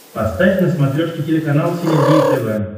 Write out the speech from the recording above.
поставь на смотрешке телеканал синергия тв